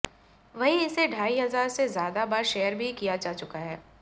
वहीं इसे ढाई हजार से ज्यादा बार शेयर भी किया जा चुका है